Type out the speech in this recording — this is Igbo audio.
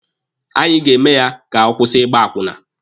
Anyị ga-eme ya ka ọ kwụsị ịgba akwụna.